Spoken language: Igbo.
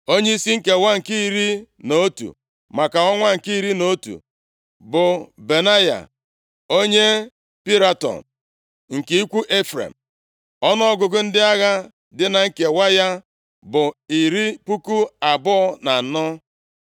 Onyeisi nkewa nke iri na otu, maka ọnwa nke iri na otu bụ Benaya onye Piraton, nke ikwu Ifrem. Ọnụọgụgụ ndị agha dị na nkewa ya bụ iri puku abụọ na anọ (24,000).